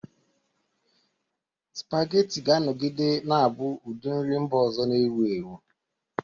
Spaghetti ga-anọgide na-abụ ụdị nri mba ọzọ na-ewu ewu.